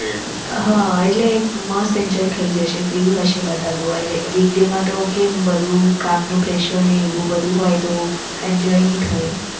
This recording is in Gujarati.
હા એટલે મસ્ત enjoy થઇ જશે. free હશે બધા તો week day માં તો બધું કામનું presser હોય તો એવું બધું હોય તો enjoy નઈ થાય